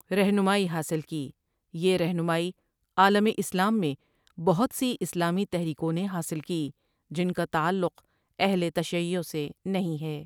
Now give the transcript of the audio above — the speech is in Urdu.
رہنمائی حاصل کی یہ رہنمائی عالم اسلام میں بہت سی اسلامی تحریکوں نے حاصل کی جن کا تعلق اہل تشیّع سے نہیں ہے۔